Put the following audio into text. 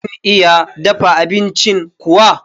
Kun iya dafa abincin kuwa?